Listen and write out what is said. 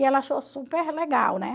E ela achou super legal, né?